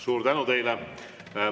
Suur tänu teile!